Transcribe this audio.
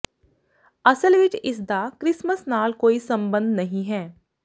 ਅਸਲ ਵਿੱਚ ਇਸਦਾ ਕ੍ਰਿਸਮਸ ਨਾਲ ਕੋਈ ਸਬੰਧ ਨਹੀਂ ਹੈ